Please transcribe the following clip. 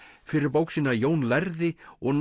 fyrir bók sína Jón lærði og